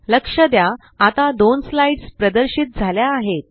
लक्ष द्या आता दोन स्लाइड्स प्रदर्शित झाल्या आहेत